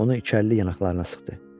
Onu içərli yanaqlarına sıxdı.